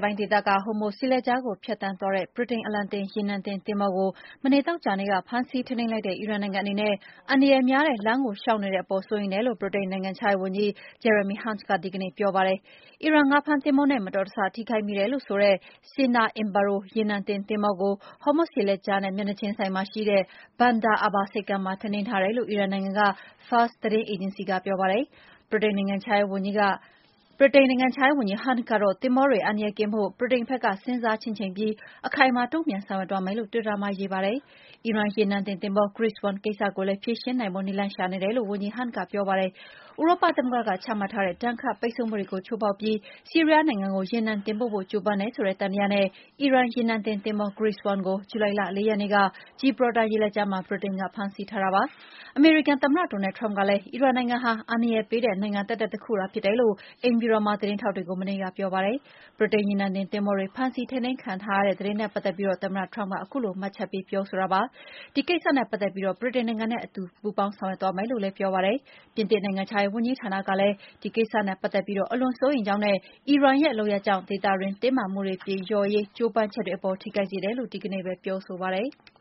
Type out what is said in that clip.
ပိုင်းဒေသက Hormuz ရေလက်ကြားကို ဖြတ်သန်းသွားတဲ့ ဗြိတိန်အလံတင် ရေနံတင်သင်္ဘော ကိုမနေ့ သောကြာနေ့က ဖမ်းဆီးထိန်းသိမ်းလိုက်တဲ့ အီရန်နိုင်ငံအနေနဲ့ အန္တရာယ်များတဲ့ လမ်းကိုလျောက်နေတဲ့အပေါ် စိုးရိမ်တယ် လို့ ဗြိတိန်နိုင်ငံခြားရေးဝန်ကြီး Jeremy Hunt က ဒီကနေ့ပြောပါတယ်။ အီရန်ငါးဖမ်းသင်္ဘောနဲ့ မတော်တဆ ထိခိုက်မိတယ်ဆိုတဲ့ Stena Impero ရေနံတင်သင်္ဘောကို Homuz ရေလက်ကြားနဲ့ မျက်နှာချင်းဆိုင်မှာရှိတဲ့ Bander Abba ဆိပ်ကမ်းမှာ ထိန်းသိမ်းထားတယ်လို့ အီရန်နိုင်ငံက FARS သတင်းအေဂျင်စီက ပြောပါတယ်။ ဗြိတိန်နိုင်ငံခြားရေး ဝန်ကြီး Hunt ကတော့ သင်္ဘောတွေ အန္တရာယ်ကင်းဖို့ ဗြိတိန်ဘက်က စဉ်းစားချင့်ချိန်ပြီး အခိုင်အမာ တုန့်ပြန်ဆောင်ရွက်သွားမယ်လို့ တွစ်တာမှာရေးပါတယ်။ အီရန်ရေနံတင်သင်္ဘော Grace 1 ကိစ္စကိုလည်း ဖြေရှင်းနိုင်ဖို့ နည်းလမ်း ရှာနေတယ်လို့ ဝန်ကြီး Hunt က ပြောပါတယ်။ ဥရောပသမဂ္ဂ ကချမှတ်ထားတဲ့ ဒဏ်ခတ်ပိတ်ဆို့မှုတွေကို ချိုးဖောက်ပြီး ဆီးရီးယားနိုင်ငံကို ရေနံတင်ပို့ဖို့ ကြိုးပမ်းတယ်ဆိုတဲ့ သံသယနဲ့ အီရန်ရေနံတင်သင်္ဘော Grace 1ကို ဇူလိုင်လ ၄ ရက်နေ့က ဂျီဘရော်တာ ရေလက်ကြားမှာ ဗြိတိန်က ဖမ်းဆီးထားတာ ဖြစ်ပါတယ်။ အမေရိကန်သမ္မတ Donald Trump ကလည်း အီရန်နိုင်ငံဟာ အန္တရာယ်ပေးတဲ့ နိုင်ငံသက်သက်သာဖြစ်တယ်လို့ အိမ်ဖြူတော်မှာ သတင်းထောက်တွေကို မနေ့က ပြောပါတယ်။ ဗြိတိန်ရေနံတင်သင်္ဘောတွေ ဖမ်းဆီးထိန်းသိမ်းခံထားရတဲ့ သတင်းနဲ့ ပတ်သက်ပြီး သမ္မတ Trump က မှတ်ချက်ပေးပြောဆိုတာပါ။ ဒီကိစ္စနဲ့ ပတ်သက်ပြီး ဗြိတိန်နိုင်ငံနဲ့ အတူဆောင်ရွက်သွားမယ်လို့ ပြောပါတယ်။ ပြင်သစ်နိုင်ငံခြားရေး ဝန်ကြီးဌာနကလည်း ဒီကိစ္စနဲ့ ပတ်သက်ပြီး အလွန်စိုးရိမ်ကြောင်းနဲ့ အီရန်ရဲ့ လုပ်ရပ်ကြောင့် ဒေသတွင်းတင်းမာမှုတွေပြေလျော့ရေး ကြိုးပမ်းချက်တွေအပေါ် ထိခိုက်စေတယ်လို့ ဒီကနေ့ပဲ ပြောဆိုပါတယ်။